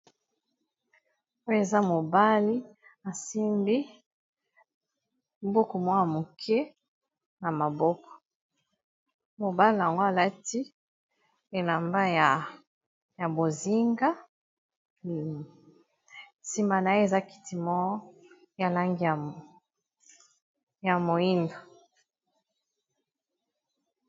Oyo eza mobali asimbi buku mwa ya moke na maboko, mobali yango alati elamba ya bozinga nsima na ye eza kiti mo ya langi ya moyindo.